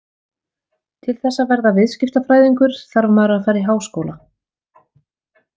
Til þess að verða viðskiptafræðingur þarf maður að fara í háskóla.